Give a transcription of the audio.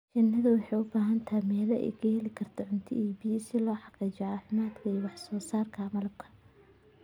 Shinnidu waxay u baahan tahay meelo ay ka heli karto cunto iyo biyo si loo xaqiijiyo caafimaadka iyo wax soo saarka malabka.